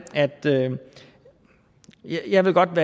at jeg godt